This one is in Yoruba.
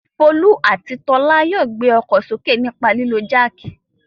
Folú àti Tọ́lá yóò gbé ọkọ̀ sókè nípa lílo jáákì.